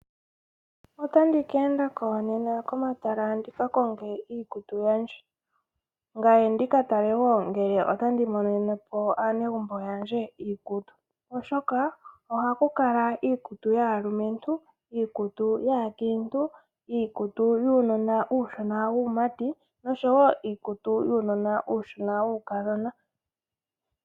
Otandi keendako nena komatala ndika konge iikutu yandje, ngaye nditale ngele temoneneko aanegumbo lyandje oshoka ohakukala iikutu yaalumentu, yaankintu, yuunona uushona wuumati nosho woo iikutu yuunona uushona wuukadhona.